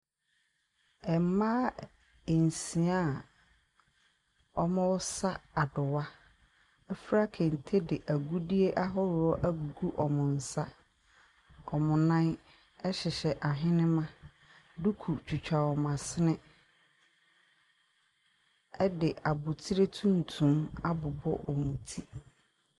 Mmaa nsia a wɔresa adowa afura de agudiɛ ahoroɔ agugu wɔn nsa. Wɔn nan ɛhyehyɛ ahenema. Duku twitwa wɔn asene ɛde abotire tuntum abobɔ wɔn ti.